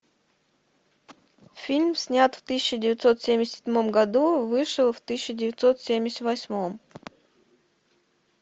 фильм снят в тысяча девятьсот семьдесят седьмом году вышел в тысяча девятьсот семьдесят восьмом